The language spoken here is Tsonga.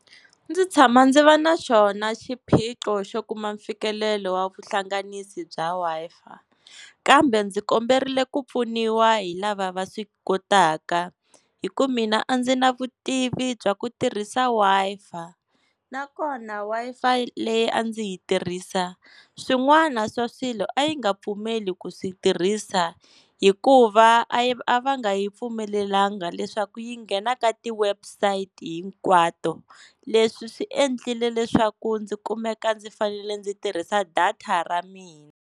Ndzi tshama ndzi va na xona xiphiqo xo kuma mfikelelo wa vuhlanganisi bya Wi-Fi kambe ndzi komberile ku pfuniwa hi lava va swi kotaka hi ku mina a ndzi na vutivi bya ku tirhisa Wi-Fa nakona Wi-Fi leyi a ndzi yi tirhisa swin'wana swa swilo a yi nga pfumeli ku swi tirhisa hikuva a yi a va nga yi pfumelelanga leswaku yi nghena ka ti-website-i hinkwato leswi swi endlile leswaku ndzi kumeka ndzi fanele ndzi tirhisa data ra mina.